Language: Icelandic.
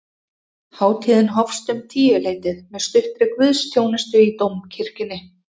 Hátíðin hófst um tíuleytið með stuttri guðsþjónustu í dómkirkjunni